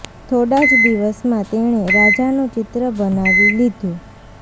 થોડા જ દિવસમાં તેણે રાજાનું ચિત્ર બનાવી લીધું